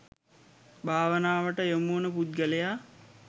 භාවනාවට යොමුවන පුද්ගලයා